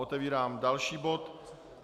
Otevírám další bod.